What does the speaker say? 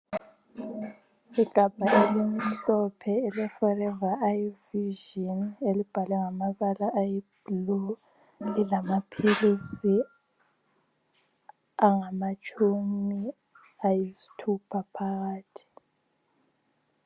Igabha elimhlophe ele "ForeveriVision" elibhalwe ngamabala ayi"blue"lilamaphilizi angamatshumi ayisithupha phakathi.